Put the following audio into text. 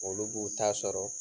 Olu b'u ta sɔrɔ.